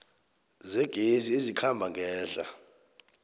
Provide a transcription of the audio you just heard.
zegezi ezikhamba ngehla